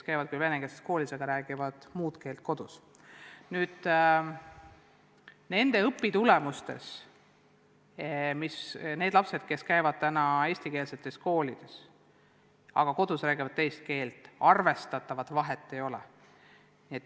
Nende laste õpitulemustes ja nende laste tulemustes, kes käivad eestikeelses koolis, aga kodus räägivad teist keelt, arvestatavat vahet ei ole.